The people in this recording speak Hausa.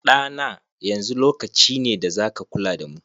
Ɗa na, yanzu lokaci ne da za ka kula da mu.